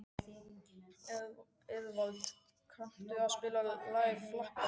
Eðvald, kanntu að spila lagið „Flakkarinn“?